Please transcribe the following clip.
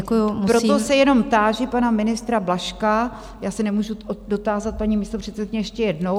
Proto se jenom táži pana ministra Blažka - já se nemůžu dotázat, paní místopředsedkyně, ještě jednou.